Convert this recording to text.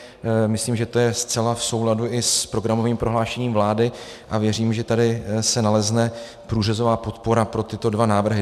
Myslím, že je to zcela v souladu i s programovým prohlášením vlády, a věřím, že tady se nalezne průřezová podpora pro tyto dva návrhy.